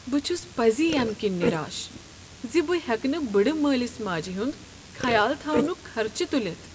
بہٕ چھُس پزی امہِ كِنۍ نِراش زِ بہ ہیكہٕ نہٕ بٕڑٕ مٲلِس ماجہِ ہُند خیال تھونک خرچہ تُلِتھ۔